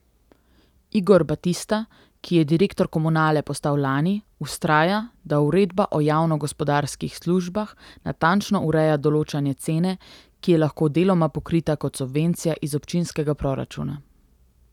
Igor Batista, ki je direktor Komunale postal lani, vztraja, da uredba o javnogospodarskih službah natančno ureja določanje cene, ki je lahko deloma pokrita kot subvencija iz občinskega proračuna.